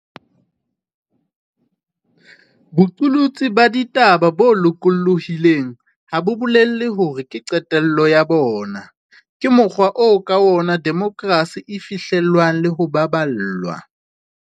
Boqolotsi ba ditaba bo loko llohileng ha bo bolele hore ke qetello ya bona. Ke mokgwa oo ka ona demokrasi e fihle llwang le ho baballwa.